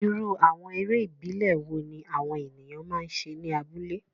Irú àwọn eré ìbílẹ̀ wo ni àwọn ènìyàn máa ń ṣe ní abúlé?